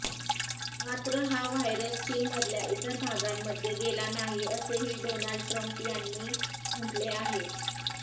मात्र हा व्हायरस चीनमधल्या इतर भागांमध्ये गेला नाही असेही डोनाल्ड ट्रम्प यांनी म्हटले आहे